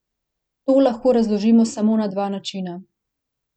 To lahko razložimo samo na dva načina.